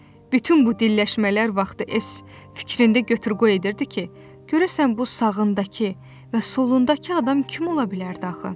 Bütün bu dilləşmələr vaxtı Es fikrində götür-qoy edirdi ki, görəsən bu sağındakı və solundakı adam kim ola bilərdi axı?